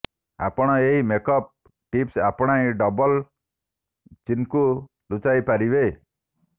ଆପଣ ଏହି makeup tips ଆପଣାଇ ଡବଲ ଚିନ୍କୁ ଲୁଚାଇପାରିବେ